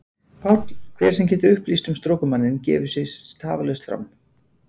PÁLL: Hver sem getur upplýst um strokumanninn gefi sig tafarlaust fram.